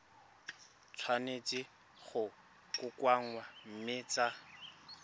tshwanetse go kokoanngwa mme tsa